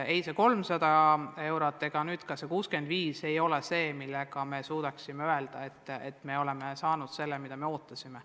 Ei see 300 eurot ega nüüd ka see 65 eurot pole see, mille peale me tahaksime öelda, et oleme saanud selle, mida me ootasime.